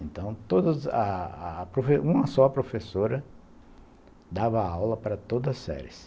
Então, todas, uma só professora dava aula para todas as séries.